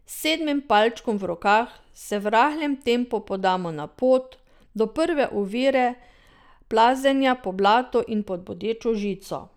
S sedmim palčkom v rokah se v rahlem tempu podamo na pot, do prve ovire, plazenja po blatu pod bodečo žico.